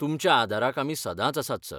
तुंमच्या आदाराक आमी सदांच आसात, सर.